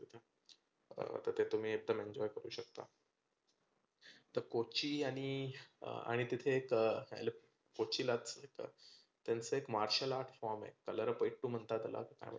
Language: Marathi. तर तुम्ही एकदम enjoy करू शकता. त कोची आणि आणि तिथे एक कोचीला त्यांच एक martial art form आहे कलरीपयटु म्हणतात त्याला आणि